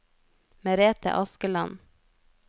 Merete Askeland